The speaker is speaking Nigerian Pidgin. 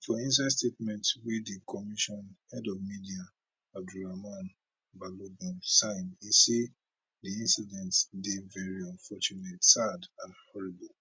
for inside statement wey di commission head of media abdurrahman balogun sign e say di incident dey veri unfortunate sad and horrible